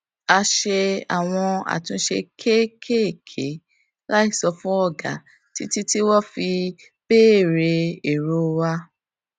a ṣe àwọn àtúnṣe kéékèèké láì sọ fún ọga títí tí wón fi béèrè èrò wa